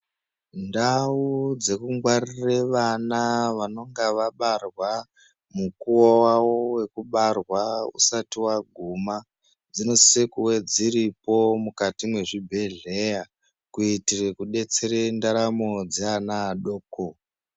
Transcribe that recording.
Ndau dzekungwaririre vana vanenge vabarwa mukuwo wavo wekubarwa usati waguma dzinosise kuve dziripo mukati mwezvibhedhleya kuitira kudetsere ndaramo dzeana adoko.